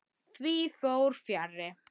Því fór fjarri.